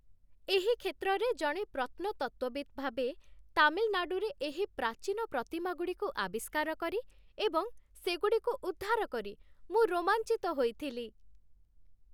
ଏହି କ୍ଷେତ୍ରରେ ଜଣେ ପ୍ରତ୍ନତତ୍ତ୍ୱବିତ୍ ଭାବେ, ତାମିଲନାଡ଼ୁରେ ଏହି ପ୍ରାଚୀନ ପ୍ରତିମାଗୁଡ଼ିକୁ ଆବିଷ୍କାର କରି ଏବଂ ସେଗୁଡ଼ିକୁ ଉଦ୍ଧାର କରି ମୁଁ ରୋମାଞ୍ଚିତ ହୋଇଥିଲି।